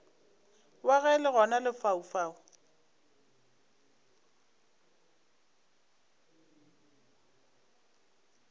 wa ge le gona lefaufau